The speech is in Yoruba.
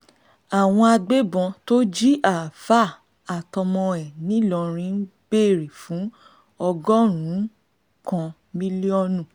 àwọn agbébọ́n tó jí àáfà àtọmọ ẹ̀ nìlọrin ń béèrè fún ọgọ́rùn-ún kan mílíọ̀nù